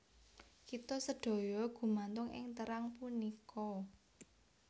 Kita sedaya gumantung ing terang punika